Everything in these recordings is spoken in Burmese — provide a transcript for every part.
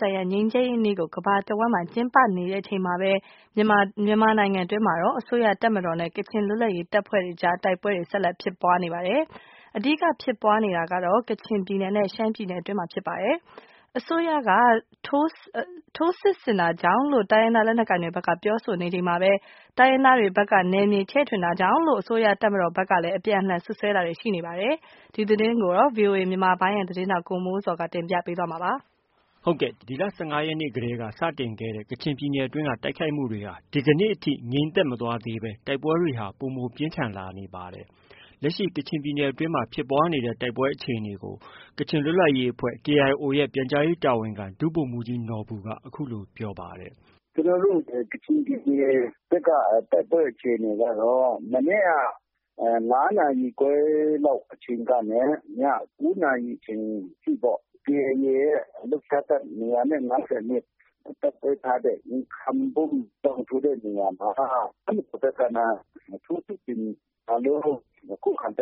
ဆိုင်ရာငြိမ်းချမ်းရေးနေ့ကို ကမ္ဘာတဝှမ်း ကျင်းပနေချိန်မှာ မြန်မာပြည် အတွင်းမှာတော့ အစိုးရတပ်မတော်နဲ့ ကချင်လွတ်လပ်ရေးတပ်ဖွဲ့အကြား တိုက်ပွဲတွေ ဆက်လက် ဖြစ်ပွားနေပါတယ်။ အဓိက ဖြစ်ပွားနေတာကတော့ ကချင်ပြည်နယ်နဲ့ ရှမ်းပြည်နယ်အတွင်းမှာဖြစ်ပွားနေပြီး တိုင်းရင်းသားလက်နက်ကိုင်တွေဖက်က အစိုးရက ထိုးစစ်ဆင်တာ ကြောင့်လို့ ပြောဆိုနေချိန်မှာပဲ အစိုးရတပ်မတော်ဖက်က တိုင်းရင်းသားတွေဖက်က နယ်မြေချဲ့ထွင်တာတွေ ကြောင့်လို အပြန်အလှန်စွပ်စွဲတာတွေ ရှိနေပါတယ်။ ဒီသတင်းကိုတော့ ဗွီအိုအေမြန်မာပိုင်းရဲ့သတင်းထောက် ကိုမိုးဇော်က တင်ပြထားပါတယ်။ ဒီလ ၁၅ ရက်နေ့လောက်ကတည်းက စတင်ခဲ့တဲ့ ကချင်ပြည်နယ်တွင်းတိုက်ခိုက်မှုတွေဟာ ဒီကနေ့ ထိ ငြိမ်သက်မသွားသေးဘဲ တိုက်ပွဲတွေဟာ ပိုမိုပြင်းထန်လာနေပါတယ်။ လက်ရှိကချင်ပြည်နယ်တွင်း ဖြစ်ပွားနေတဲ့ တိုက်ပွဲအခြေအနေကိုတော့ ကချင်လွတ်လပ်ရေးအဖွဲ့ KIO ရဲ့ ပြန်ကြားရေးတာဝန်ခံ ဒုဗိုလ်မှုးကြီးနော်ဘူက အခုလို ပြောပါတယ်။ “ကျနော်တို့ ကချင်ပြည်နယ်ဘက်က တိုက်ပွဲအခြေအနေကတော့ မနေ့က ညနေ ၅ နာရီခွဲအချိန်ကနေ ၉ နာရီ အချိန်အထိပေါ့ KIA ရဲ့ ၂၅၂ တပ်ခွဲထားတဲ့ Nhkam Bum တောင် ဆိုတဲ့နေရာမှာ ထိုးစစ်ဆင်တဲ့တို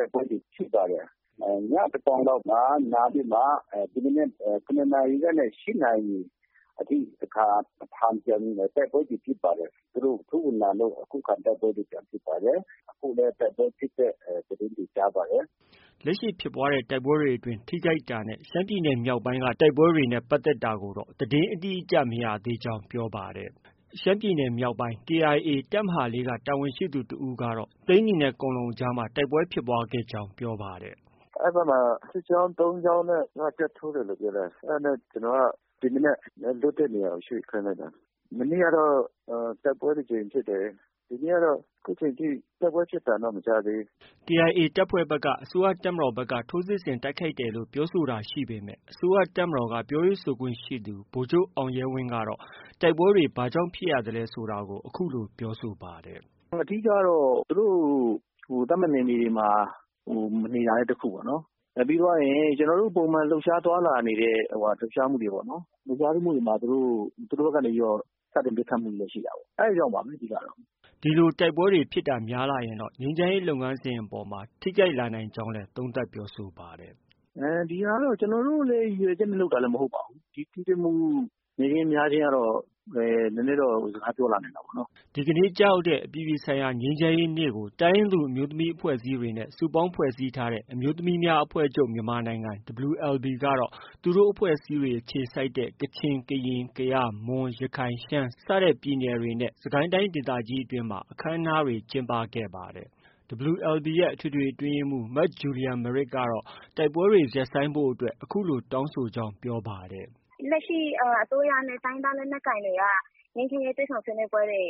က်ပွဲတွေ ရှိပါတယ်။ ညသန်းခေါင်လောက်မှာနားပြီးမှာ ဒီမနက် ၇ နာရီလောက်ကနေ ၈ နာရီအထိတခါ ပြန်ပြီးတိုက်ပွဲဖြစ်ပါတယ်။ သူတို့ထိုးဝင်လာလို့တခါ တိုက်ပွဲဖြစ်ပါတယ် အခုလည်းတိုက်ပွဲ ဖြစ်တဲ့သတင်းတွေကြားတယ်။” လက်ရှိဖြစ်ပွားတဲ့ တိုက်ပွဲအတွင်း ထိခိုက်တာနဲ့ ရှမ်းပြည်နယ်မြောက်ပိုင်းတိုက်ပွဲနဲ့ ပတ်သက်တာတော့ သတင်းအတိအကျမရသေးကြောင်း ပြောပါတယ်။ ရှမ်းပြည်နယ်မြောက်ပိုင်းက KIA တပ်မဟာ၄ က တာဝန်ရှိသူတဦးကတော့ ရှမ်းပြည်နယ် မြောက်ပိုင်း သိန်းနီနဲ့ ကွမ်လုံကြားမှာ တိုက်ပွဲဖြစ်ပွားကြောင်း ပြောပါတယ်။ “အဲဒီဘက်မှာ စစ်ကြောင်း ၃ ကြောင်းနဲ့ ထိုးတယ်လို့ပြောတယ်။ အဲဒါကြောင့် ဒီမနက်လွတ်တဲ့နေရာကို ရွေ့ခိုင်းလိုက်တာ ။မနေ့ကတော့ တိုက်ပွဲ ၁ ကြိမ်ဖြစ်တယ်။ ဒီနေ့ကတော့ အခုအချိန်အထိ တိုက်ပွဲဖြစ်တာတော့ မကြားသေးဘူး။” KIA တပ်ဖွဲ့ဘက်ကတော့ အစိုးရတပ်မတော်ဖက်က ထိုးစစ်ဆင်တိုက်ခိုက်တယ်လို့ ပြောဆိုတာရှိပေမဲ့ အစိုးရတပ်မတော်က ပြောရေးဆိုခွင့်ရှိသူ ဗိုလ်ချုပ် အောင်ရဲဝင်းကတော့ တိုက်ပွဲတွေ ဘာကြောင့်ဖြစ်ပွားရ သလဲဆိုတာကို အခုလို ပြောဆိုပါတယ်။ “အဓိကတော့ သူတို့ သတ်မှတ်နေမြေမှာ မနေတာ တခုပေါ့နော်၊ ပြီးသွားရင် ကျနော်တို့ပုံမှန်လှုပ်ရှားသွားလာနေတဲ့ လှုပ်ရှားမှုတွေမှာ သူတို့ဘက်ကနေပြီးတော့ စတင်ပစ်ခတ်မှုတွေရှိတာပေါ့နော်။ အဲဒီလောက်ပါပဲ အဓိကတော့။” ဒီလို တိုက်ပွဲတွေ ဖြစ်တာများလာရင်တော့ ငြိမ်းချမ်းရေးလုပ်ငန်းစဉ်အပေါ် ထိခိုက်လာနိုင်တယ်လို့လည်း ပြောပါတယ်။ “ဒီဟာကတော့ ကျနော်တို့လည်း ရည်ရွယ်ချက်နဲ့လုပ်တာမဟုတ်ပါဘူး။ ဒီလို ထိတွေ့မှု နည်းခြင်း၊ များခြင်းကတော့ နည်းနည်းတော့ စကားပြောလာနိုင်တာပေါ့နော်။” ဒီကနေ့ကျရောက်တဲ့ အပြည်ပြည်ဆိုင်ရာငြိမ်းချမ်းရေးနေ့ကို တိုင်းရင်းသူအမျိုးသမီးအဖွဲ့အစည်းတွေနဲ့ စုပေါင်းဖွဲ့စည်းထားတဲ့ အမျိုးသမီးများအဖွဲ့ချုပ်(မြန်မာနိုင်ငံ) WLBကတော့ သူတို့အဖွဲ့တွေအခြေစိုက်တဲ့ ကချင်၊ကရင်၊ကယား၊ မွန်၊ရခိုင်၊ ရှမ်းစတဲ့ပြည်နယ်တွေနဲ့ စစ်ကိုင်းတိုင်းတိုင်းဒေသကြီးတွေမှာ ကျင်းပခဲ့ပါတယ်။ WLBရဲ့ အထွေထွေအတွင်းရေးမှုး မဂျူလီယာမရစ်ကတော့ တိုက်ပွဲတွေ ရပ်ဆိုင်းဖို့အတွက် အခုလိုတောင်းဆိုကြောင်း ပြောပါတယ်။ “လက်ရှိအစိုးရနဲ့ တိုင်းရင်းသားလက်နက်ကိုင်တွေက ငြိမ်းချမ်းရေးတွေ့ဆုံဆွေးနွေးပွဲတွေ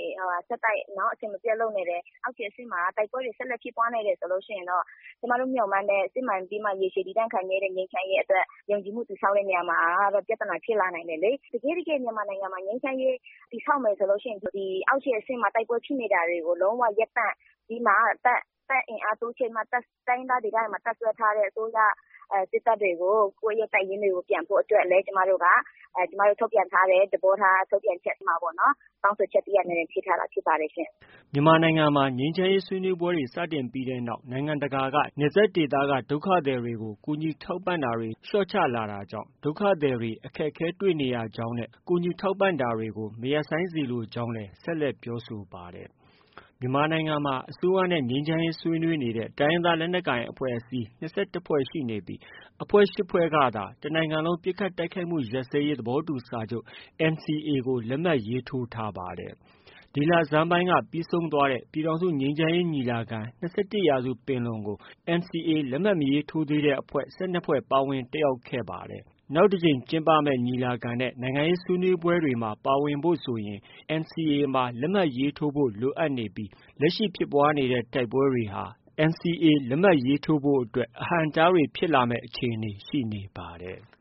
ဆက်တိုက်၊ အစဉ်မပျက်လုပ်နေတယ်၊ တချိန်တည်းမှာလည်း တိုက်ပွဲတွေဆက်လက်ဖြစ်ပွားနေတယ်ဆိုရင်တော့ ကျမတို့မျှော်မှန်းတဲ့ စစ်မှန်ပြီးမှ၊ ရေရှည်တည်တန့်တဲ့ ငြိမ်းချမ်းရေးအတွက် ယုံကြည်မှုတည်ဆောက်တဲ့နေရာမှာ ပြဿနာဖြစ်လာနိုင်တယ်လေ။ တကယ့်တကယ် မြန်မာနိုင်ငံမှာ ငြိမ်းချမ်းရေး တည်ဆောက်မယ်ဆိုရင်တော့ အောက်ခြေအဆင့်မှာ တိုက်ပွဲတွေဖြစ်နေတာကို လုံးဝရပ်တန့်ပြီးမှ ၊ တပ်အင်အားတိုးချဲ့ပြီးမှ တိုင်းရင်းသားဒေသတွေမှာ တပ်စွဲထားတဲ့ အစိုးရတပ်တွေကို ပြန်ဖို့အတွက်လည်း ကျမတို့ ထုတ်ပြန်ထားတဲ့ သဘောထားထုတ်ပြန်ချက်ထဲမှာပေါ့နော်၊ တောင်းဆိုချက်တခုအနေနဲ့ ထည့်ထားတာဖြစ်ပါတယ်ရှင့်။” မြန်မာနိုင်ငံမှာ ငြိမ်းချမ်းရေးဆွေးနွေးပွဲတွေစတင်ပြီးတဲ့နောက် နိုင်ငံတကာက နယ်စပ်ဒေသက ဒုက္ခသည်တွေကို ကူညီထောက်ပံတာတွေ လျော့ချလာတကြောင့်ဒုက္ခသည်တွေ အခက်အခဲတွေ့ နေရကြောင်းနဲ့ ထောက်ပံ့တာတွေကို မရပ်ဆိုင်းစေလိုကြောင်းလည်း ဆက်ပြောဆိုပါတယ်။ မြန်မာနိုင်ငံမှာ အစိုးရနဲ့ ငြိမ်းချမ်းရေးဆွေးနွေးခဲ့တဲ့ တိုင်းရင်းသားလက်နက်ကိုင်အဖွဲ့ ၂၁ဖွဲ့ရှိနေပြီး အဖွဲ့၈ဖွဲ့ကသာ တနိုင်ငံလုံးပစ်ခတ်တိုက်ခိုက်မှုရပ်စဲရေးသဘောတူစာချုပ် NCAကို လက်မှတ်ရေးထိုး ထားပါတယ်။ ဒီလဆန်းပိုင်းက ပြီးဆုံးသွားတဲ့ ပြည်ထောင်စုငြိမ်းချမ်းရေးညီလာခံ-၂၁ရာစုပင်လုံကို NCA လက်မှတ် မရေးထိုးသေးတဲ့ အဖွဲ့ ၁၂ဖွဲ့ပါ ပါဝင်တက်ရောက်ခဲ့ပါတယ်။နောက်တကြိမ်ညီလာခံနဲ့ နိုင်ငံရေးဆွေးနွေးပွဲတွေမှာ ပါဝင်ဖို့ဆိုရင် NCAမှာ ပါဝင်လက်မှတ်ရေးထိုးဖို့ လိုအပ်နေပြီး လက်ရှိဖြစ်ပွားနေတဲ့ တိုက်ပွဲတွေဟာ NCA လက်မှတ်ရေးထိုးဖို့အတွက် အဟန့်အတားတွေဖြစ်လာမယ့် အခြေအနေရှိနေပါတယ်။